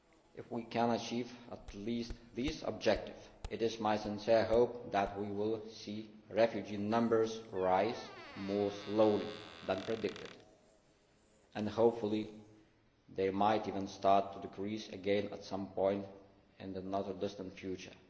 If we can achieve at least these objectives, it is my sincere hope that we will see refugee numbers rise more slowly than predicted and hopefully they might even start to decrease again at some point in the not too distant future.